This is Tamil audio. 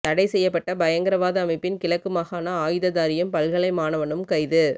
தடைசெய்யப்பட்ட பயங்கரவாத அமைப்பின் கிழக்கு மாகாண ஆயுததாரியும் பல்கலை மாணவனும் கைது